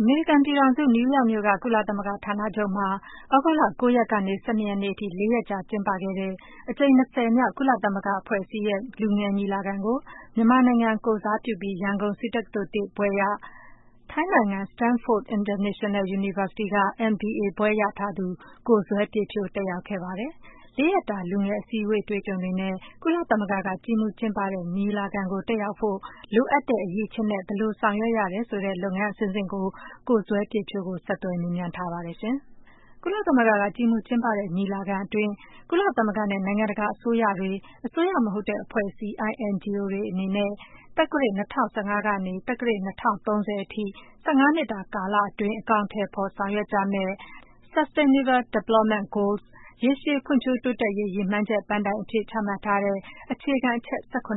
အမေရိကန်ပြည်ထောင်စု၊ နယူးယောက်မြို့က ကုသလသမဂ္ဂ ဌာနချုပ်မှာ သြဂုတ်လ ၉ ရက် ကနေ ၁၂ ရက်နေ့အထိ လေးရက်တာ ကျင်းပခဲ့တဲ့ အကြိမ် မြောက် ကုလသမဂ္ဂအဖွဲ့အစည်းရဲ့ လူငယ်ညီလာခံကို မြန်မာနိုင်ငံကို ကိုယ်စားပြုပြီး ရန်ကုန် ဆေးတက္ကသိုလ် ဘွဲ့ရ၊ ထိုင်းနိုင်ငံ Stamford International University က ဘွဲ့ရထားတဲ့ ကိုဇွဲပြည့်ဖြိုး တက်ရောက်ခဲ့ပါတယ်။ လေးရက်တာ လူငယ်အစည်းအဝေး အတွေ့အကြုံတွေနဲ့ ကုလသမဂ္ဂက ကြီးမှူးကျင်းပတဲ့ ညီလာခံကို တက်ရောက်ဖို့ လိုအပ်တဲ့အရည်အချင်းနဲ့ ဘယ်လို ဆောင်ရွက်ရတယ်ဆိုတာ ကိုဇွဲပြည့်ဖြိုးကို ဆက်သွယ်မေးမြန်းထားပါတယ်။ ကုလသမဂ္ဂက ကြီးမှူးကျင်းပတဲ့ညီလာခံအတွင်း ကုလသမဂ္ဂနဲ့ နိုင်ငံတကာ အစိုးရတွေ၊ အစိုးရမဟုတ်တဲ့ အဖွဲ့အစည်း INGOs တွေအနေနဲ့ သက္ကရာဇ် ၂၀၁၅ က နေ သက္ကရာဇ် ၂၀၃၀ အထိ ၁၅ နှစ်တာ ကာလ အတွင်း အကောင်အထည်ဖော် ဆောင်ရွက်ကြမယ့် Sustainable Development Goals - ရေရှည်ဖွံ့ဖြိုး တိုးတက်ရေး ရည်မှန်းချက် ပန်းတိုင်အဖြစ် ချမှတ်ထားတဲ့ အခြေခံအချက် ချက်အ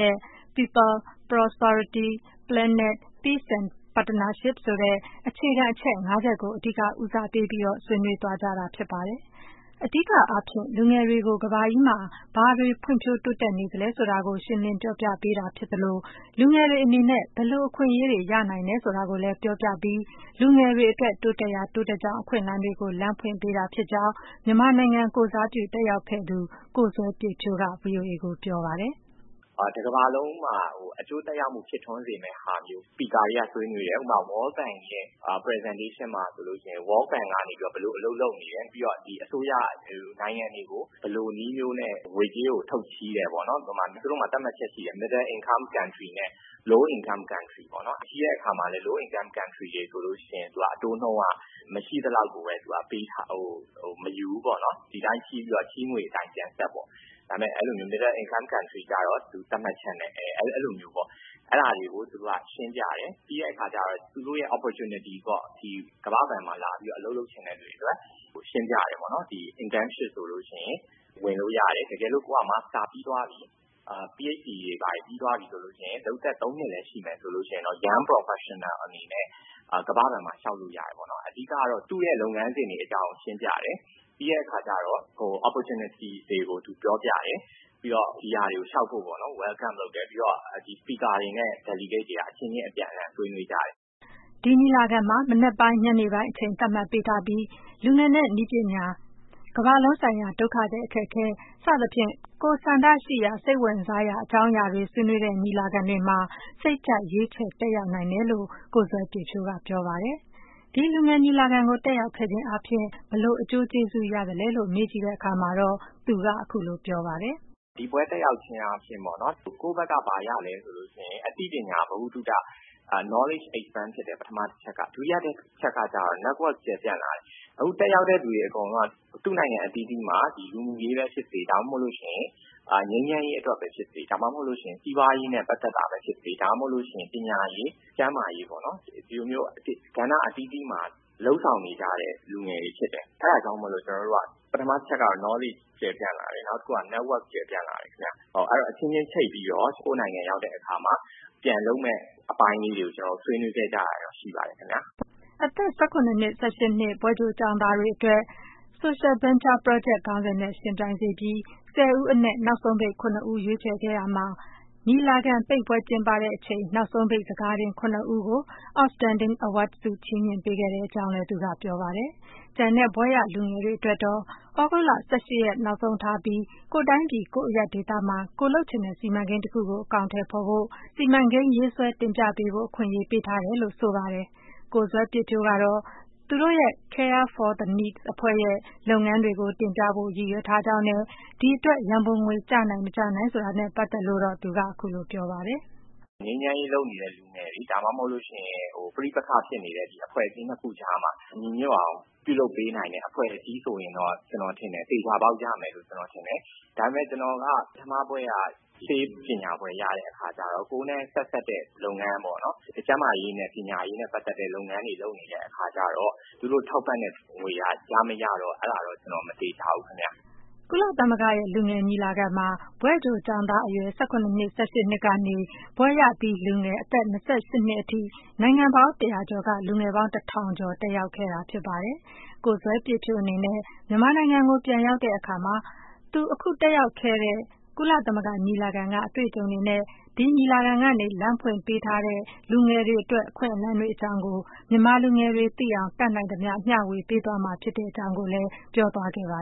နက် People, Prosperity, Planet, Peace and Partnership ဆိုတဲ့ အခြေခံအချက် ငါးချက်ကို အဓိက ဦးစားပေးပြီး ဆွေးနွေးသွားကြတာ ဖြစ်ပါတယ်။ အဓိကအားဖြင့် လူငယ်တွေကို ကမ္ဘာကြီးမှာ ဘာတွေ တိုးတက်ဖွံ့ဖြိုးနေသလဲဆိုတာကို ရှင်းလင်းပြောပြပေးတာဖြစ်သလို လူငယ်တွေအနေနဲ့ ဘယ်လို အခွင့်အရေးတွေ ရနိုင်တယ်ဆိုတာကိုလည်း ပြောပြပြီး လူငယ်တွေအတွက် တိုးတက်ရာ တိုးတက်ကြောင်း အခွင့်အလမ်းတွေကို လမ်းဖွင့်ပေးတာဖြစ်ကြောင်း မြန်မာနိုင်ငံကိုယ်စားပြု တက်ရောက်ခဲ့သူ ကိုဇွဲပြည့်ဖြိုးက ဗွီအိုအေကို ပြောပါတယ်။ “တကမ္ဘာလုံးမှာ အကျိုးသက်ရောက်မှုဖြစ်ထွန်းစေမယ့်ဟာမျိုး speaker တွေက ဆွေးနွေးတယ်။ ဥပမာ - World Bank ရဲ့ presentation မှာ ဆိုလို့ရှိရင် World Bank ကနေ ဘယ်လိုမျိုးလုပ်နေတယ်၊ ပြီးတော့ အစိုးရတွေ၊ နိုင်ငံတွေကို ဘယ်လိုနည်းမျိုးနဲ့ ငွေကြေးကို ထုတ်ချေး တယ်ပေါ့နော်၊ သူတို့မှာ သတ်မှတ်ချက်ရှိတယ်၊ Middle income countries နဲ့ low income countries တွေ ပေါ့နော်၊ ချေးတဲ့အခါမှာလည်း low income countries တွေဆိုလို့ရှိရင် အတိုးနှုန်းက မရှိသလောက်ကိုပဲ မယူဘူးပေါ့နော်၊ ဒီအတိုင်းချေးပြီးတော့ ချေးငွေအတိုင်း ပြန်ဆပ်ပေါ့၊ ဒါပေမယ့် middle income country ကျတော့ သတ်မှတ်ချက်နဲ့- အဲလိုမျိုးပေါ့။ အဲဒါတွေကို သူတို့က ရှင်းပြတယ်။ ပြီးတဲ့အခါကျတော့ သူတို့ရဲ့ opportunity ပေါ့။ ကမ္ဘာ့ဘဏ်မှာလာပြီး အလုပ်လုပ်ချင်တဲ့သူတွေအတွက် ရှင်းပြတယ်ပေါ့နော်၊ internship ဆိုလို့ရှိရင် ဝင်လို့ရတယ်။ တကယ်လို့ ကိုယ်က မာစတာပြီးသွားပြီ၊ Ph.D တွေဘာတွေ ပြီးသွားပြီဆိုလို့ရှိရင် လုပ်သက် ၃ နှစ်လည်းရှိမယ်ဆိုရင် Young Professional အနေနဲ့ ကမ္ဘာ့ဘဏ်မှာလျောက်လို့ရတယ်ပေါ့နော်။ အဓိကတော့ သူ့လုပ်ငန်းစဉ်တွေကို ရှင်းပြတယ်။ ပြီးတဲ့အခါကျတော့ Opportunities တွေကို ပြောပြတယ်။ ပြီးတော့ ဒီဟာတွေကိုလျောက်ဖို့ပေါ့နော် welcome လုပ်တယ်၊ ပြီးတော့ Speakers တွေနဲ့ delegates တွေက အပြန်အလှန်အချင်းချင်းဆွေးနွေးကြတယ်။” ဒီညီလာခံမှာ မနက်ပိုင်း၊ ညနေပိုင်း အချိန်သတ်မှတ်ပေးထားပြီး လူငယ်နဲ့ နည်းပညာ၊ ကမ္ဘာလုံးဆိုင်ရာ ဒုက္ခသည်အခက်အခဲ စသဖြင့် ကိုယ်ဆန္ဒရှိရာ၊ စိတ်ဝင်စားရာ အကြောင်းအရာတွေ ဆွေးနွေးတဲ့ညီလာခံတွေမှာ စိတ်ကြိုက် ရွေးချယ်တက်ရောက်နိုင်တယ်လို့ ကိုဇွဲပြည့်ဖြိုးက ပြောပါတယ်။ ဒီ လူငယ် ညီလာခံကို တက်ရောက်ခဲ့ခြင်းအားဖြင့် ဘယ်လို အကျိုးကျေးဇူးရသလဲလို့ မေးကြည့်တဲ့အခါမှာတော့ ကိုဇွဲပြည့်ဖြိုးက အခုလို ပြောပါတယ်။ “ဒီပွဲတက်ရောက်ခြင်းအားဖြင့် ကိုယ့်ဘက်က ဘာရသလဲဆိုရင် အသိပညာ ဗဟုသုတ Knowledge expend ဖြစ်တယ် ပထမတချက်က ။ ဒုတိယတချက်ကတော့ Network ကျယ်ပြန့်လာတယ်။ အခုတက်ရောက်တဲ့သူအကုန်လုံးက သူ့နိုင်ငံအသီးသီးမှာ လူမှုရေးဖြစ်စေ၊ ငြိမ်းချမ်းရေးအတွက်ပဲဖြစ်စေ ၊ ဒါမှမဟုတ်ရင် စီးပွားရေးနဲ့ ပတ်သက်တာ ပဲဖြစ်စေ၊ ဒါမှမဟုတ်ရင် ပညာရေး၊ ကျန်းမာရေးပေါ့နော် ဒီလိုကဏ္ဍအသီးသီးမှာ လုပ်ဆောင်နေကြတဲ့ လူငယ်တွေဖြစ်တယ်။ အဲဒါကြောင့်မို့လို့ ပထမတချက်ကတော့ Knowledge ကျယ်ပြန့်လာတယ်၊ နောက်တခုကတော့ Network ကျယ်ပြန့်လာတယ်ခင်ဗျ။ အချင်းချင်းချိတ်ပြီးတော့ ကိုယ့်နိုင်ငံရောက်တဲ့အခါမှာ ပြန်လုပ်မယ့်အပိုင်းလေးတွေကို ကျနော်တို့ ဆွေးနွေးခဲ့ကြတာ ရှိပါတယ်ခင်ဗျ။” အသက် ၁၇-၁၈ နှစ် ဘွဲ့ကြို ကျောင်းသားတွေအတွက်တော့ Social Venture Project ခေါင်းစဉ်နဲ့ ယှဉ်ပြိုင်စေပြီး ဆယ်ဦးအနက် နောက်ဆုံးပိတ် ၇ ဦး ရွေးချယ်ခဲ့ရမှာ ညီလာခံပိတ်ပွဲကျင်းပချိန်မှာ နောက်ဆုံးပိတ် စကာတင် ခုနစ်ဦးကို Outstanding Award ဆုချီးမြှင့်ပေးကြောင်းလည်း သူက ပြောပါတယ်။ ကျန်တဲ့ ဘွဲ့ရလူငယ်တွေကတော့ သြဂုတ်လ ၁၈ ရက်နောက်ဆုံးထားပြီး ကိုယ့်တိုင်းပြည်၊ ကိုယ့်အရပ်ဒေသမှာ ကိုယ်လုပ်ချင်တဲ့ စီမံကိန်း တခုကို အကောင်အထည်ဖော်ဖို့ စီမံကိန်းရေးဆွဲ တင်ပြပေးဖို့ အခွင့်အရေးပေးထားကြောင်း ပြောပါတယ်။ ကိုဇွဲပြည့်ဖြိုးကတော့ သူတို့ရဲ့ Care for the Need အဖွဲ့ရဲ့ လုပ်ငန်းတွေကို တင်ပြဖို့ ရည်ရွယ်ထားကြောင်းနဲ့ ဒီအတွက် ရန်ပုံငွေ ကျနိုင် ၊ မကျနိုင်နဲ့ပတ်သက်လို့ အခုလို ပြောပါတယ်။ “ငြိမ်းချမ်းရေးလုပ်နေတဲ့လူတွေ ဒါမှမဟုတ်လို့ရှိရင် ပဋိပက္ခဖြစ်နေတဲ့ အဖွဲ့အစည်း ၂ ခုကြားမှာ ညီညွတ်အောင်ပြုလုပ်ပေးနိုင်တဲ့အဖွဲ့အစည်းဆိုရင်တော့ ကျနော်ထင်တယ် သေချာပေါက်ရမယ်လို့ ကျနော်ထင်တယ်။ ဒါပေမယ့် ကျနော်က ပထမဘွဲ့က ဆေးပညာဘွဲ့ရတဲ့အခါကျတော့ ကိုယ်နဲ့ ဆက်စပ်တဲ့လုပ်ငန်းပေါ့နော် ကျန်းမာရေး၊ ပညာရေးနဲ့ ပတ်သက်တဲ့ လုပ်ငန်းတွေလုပ်နေတဲ့အခါကျတော့ သူတို့ထောက်ပံ့တဲ့ငွေက ရမရတော့ အဲဒါကတော့ ကျနော်မသေချာဘူးခင်ဗျ။” ကုလသမဂ္ဂရဲ့ လူငယ်ညီလာခံမှာ ဘွဲ့ကြိုကျောင်းသားအရွယ် အသက် ၁၇ နှစ်၊ ၁၈ နှစ်ကနေ ဘွဲ့ရလူငယ် အသက် ၂၈ နှစ်အထိ နိုင်ငံပေါင်း ၁၀၀ ကျော်က လူငယ်ပေါင်း ၁ ထောင်ကျော်တက်ရောက်ခဲ့တာ ဖြစ်ပါတယ်။ ကိုဇွဲပြည့်ဖြိုးအနေနဲ့ မြန်မာနိုင်ငံကိုပြန်ရောက်တဲ့အခါ အခု သူ တက်ရောက်ခဲ့တဲ့ ကုလသမဂ္ဂလူငယ်ညီလာခံက အတွေ့အကြုံတွေနဲ့ ဒီညီလာခံ ကနေ လမ်းဖွင့်ပေးနေတဲ့ လူငယ်တွေ ရရှိနိုင်တဲ့ အခွင့်အလမ်းတွေအကြောင်း မြန်မာလူငယ်တွေကို တတ်နိုင်သမျှ မျှဝေပေးသွားမှာ ဖြစ်ကြောင်းကိုလည်း ပြောသွားခဲ့ပါ